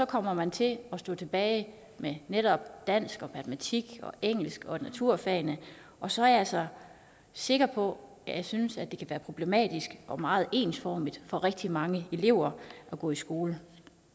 kommer man til at stå tilbage med netop dansk og matematik og engelsk og naturfagene og så er jeg altså sikker på ja jeg synes at det kan være problematisk og meget ensformigt for rigtig mange elever at gå i skole